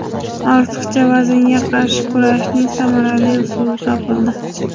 Ortiqcha vaznga qarshi kurashning samarali usuli topildi.